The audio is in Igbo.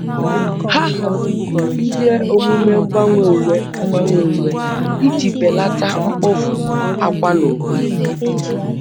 Oge ya biara n'amaghi ama, mana ego nkwado agum akwụkwọ agum akwụkwọ enweghi ike ichere.